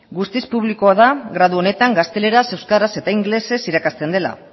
guztiz publikoa da gradu honetan gazteleraz euskeraz eta ingelesez irakasten dela